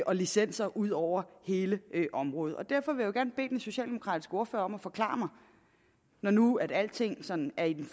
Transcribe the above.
og licenser ud over hele området derfor vil jeg gerne bede den socialdemokratiske ordfører om at forklare mig når nu alting sådan er i den